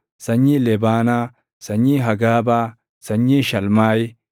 sanyii Lebaanaa, sanyii Hagaabaa, sanyii Shalmaayi,